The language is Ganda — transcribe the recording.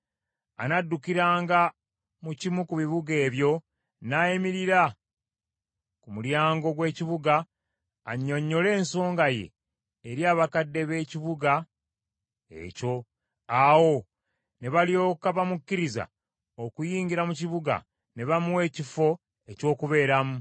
“Annadukiranga mu kimu ku bibuga ebyo n’ayimirira ku mulyango gw’ekibuga annyonnyole ensonga ye eri abakadde b’ekibuga ekyo. Awo ne balyoka bamukkiriza okuyingira mu kibuga ne bamuwa ekifo eky’okubeeramu.